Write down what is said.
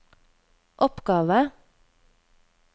oppgave